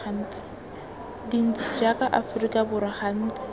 dintsi jaaka aforika borwa gantsi